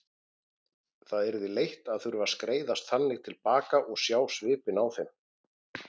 Það yrði leitt að þurfa að skreiðast þannig til baka og sjá svipinn á þeim.